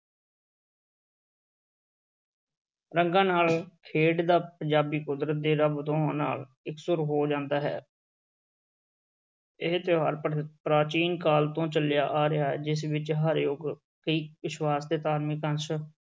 ਰੰਗਾਂ ਨਾਲ ਖੇਡਦਾ ਪੰਜਾਬੀ ਕੁਦਰਤ ਤੇ ਰੱਬ ਦੋਹਾਂ ਨਾਲ ਇਕਸੁਰ ਹੋ ਜਾਂਦਾ ਹੈ ਇਹ ਤਿਉਹਾਰ ਪ੍ਰ~ ਪ੍ਰਾਚੀਨ ਕਾਲ ਤੋਂ ਚੱਲਿਆ ਆ ਰਿਹਾ ਹੈ, ਜਿਸ ਵਿੱਚ ਹਰ ਯੁਗ ਕਈ ਵਿਸ਼ਵਾਸ ਤੇ ਧਾਰਮਿਕ ਅੰਸ਼